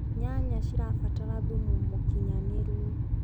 nyanya cirabatara thumu mũũkĩnyanĩru